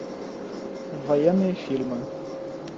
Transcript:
военные фильмы